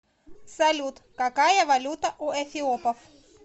салют какая валюта у эфиопов